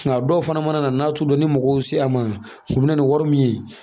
Nka dɔw fana mana na n'a t'u dɔn ni mɔgɔw sera a ma u bɛ na ni wari min ye